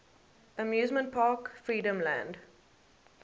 amusement park freedomland